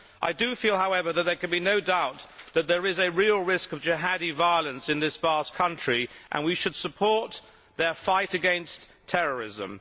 I do feel, however, that there can be no doubt that there is a real risk of jihadi violence in this vast country, and we should support their fight against terrorism.